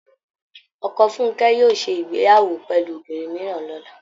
Ọkọ Funkẹ́ yóò ṣé ìgbéyàwó pẹ̀lú obìnrin mìíràn lọ́la